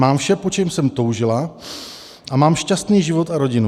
Mám vše, po čem jsem toužila, a mám šťastný život a rodinu.